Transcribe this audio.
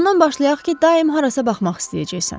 Ondan başlayaq ki, daim harasa baxmaq istəyəcəksən.